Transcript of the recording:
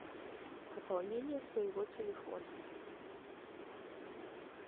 пополнение своего телефона